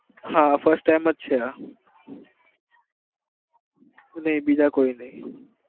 હા first time છે આ નહિ બીજા કોઈ નહિ.